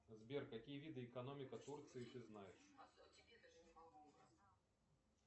сбер какие виды экономика турции ты знаешь